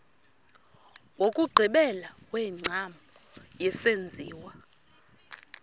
wokugqibela wengcambu yesenziwa